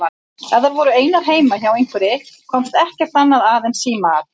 Ef þær voru einar heima hjá einhverri komst ekkert annað að en símaat.